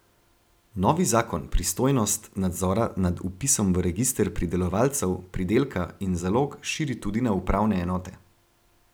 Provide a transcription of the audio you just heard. Novi zakon pristojnost nadzora nad vpisom v register pridelovalcev, pridelka in zalog širi tudi na upravne enote.